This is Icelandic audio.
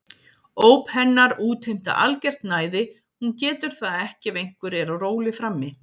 Óp hennar útheimta algert næði, hún getur það ekki ef einhver er á róli frammi.